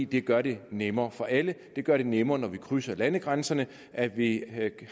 det gør det nemmere for alle det gør det nemmere når vi krydser landegrænserne at vi havde